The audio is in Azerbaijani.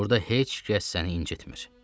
Burada heç kəs səni incitmir.